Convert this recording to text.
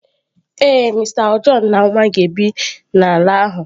Ee, Mister John na nwa ga-ebi n'ala ahụ.